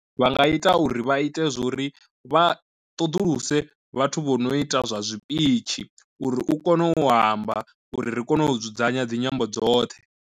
Vha nga ita uri vha ite zwori vha ṱoḓuluse vhathu vho no ita zwa zwipitshi uri u kone u amba uri ri kone u dzudzanya dzinyambo dzoṱhe.